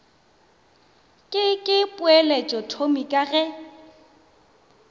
ke ke poeletšothomi ka ge